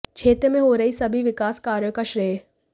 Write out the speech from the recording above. क्षेत्र में हो रहे सभी विकास कार्याे का श्रेय